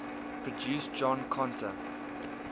produced john conteh